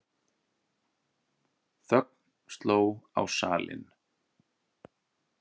Þögn sló á salinn.